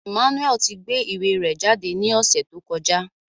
Emmanuel ti gbe iwe rẹ jade ni ọsẹ to kọja